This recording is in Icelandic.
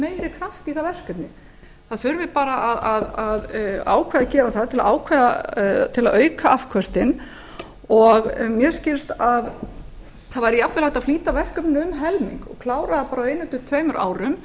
meiri kraft í það verkefni það þurfi bara að ákveða að gera það til að auka afköstin og mér skilst að það væri jafnvel hægt að flýta verkefninu um helming og klára það jafnvel á einu til tveimur árum